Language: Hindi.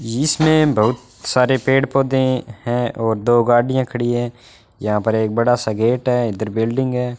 इसमें बहुत सारे पेड़ पौधे हैं और दो गाड़ियां खड़ी हैं यहां पर एक बड़ा सा गेट है इधर बिल्डिंग है।